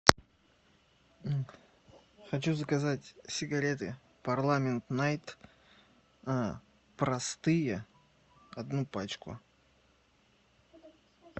хочу заказать сигареты парламент найт простые одну пачку